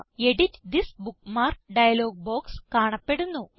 edit this bookmark dialog box കാണപ്പെടുന്നു